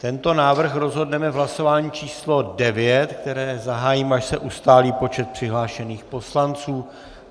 Tento návrh rozhodneme v hlasování číslo devět, které zahájím, až se ustálí počet přihlášených poslanců.